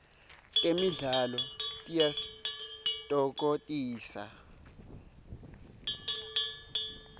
temidlalo tiyasitfokotisa